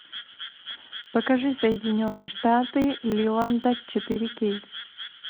покажи соединенные штаты лиланда четыре кей